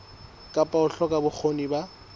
kapa ho hloka bokgoni ba